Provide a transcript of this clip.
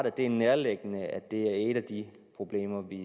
at det er nærliggende at det er et af de problemer vi